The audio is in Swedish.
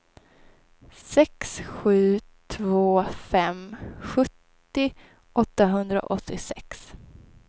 sex sju två fem sjuttio åttahundraåttiosex